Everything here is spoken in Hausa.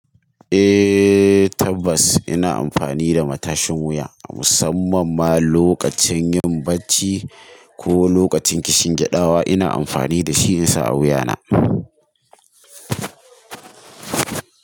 Eh tabbas ina amfani da matashin wuya musamman ma lokacin yin bacci ko lokacin kishin gyadawa ina amfani da shi in sa a wuya na.